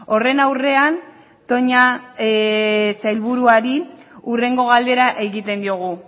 horren aurrean toña sailburuari hurrengo galdera egiten diogu